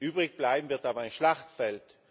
Übrig bleiben wird aber ein Schlachtfeld.